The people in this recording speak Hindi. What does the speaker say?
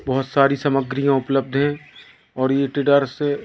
बहोत सारी समाग्रीयां उपलब्ध है और ये ट्रेडर्स --